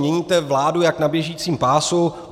Měníte vládu jak na běžícím pásu.